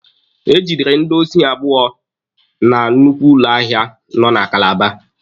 E gidere ndị osi abụọ na nnukwu ụlọ ahịa nọ na Kalaba.